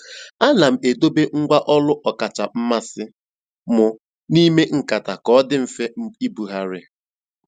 Àna m èdòbé ngwá ọ́lù ọ́kàchà mmasị́ m n'ímè nkátà kà ọ dị́ mfe ìbùghàrị̀.